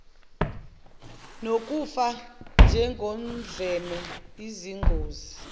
nokufa njengodlame izingozi